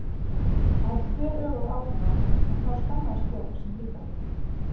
Það hafði þveröfug áhrif á mig en þá skammaðist Björg sín líka fyrir mig.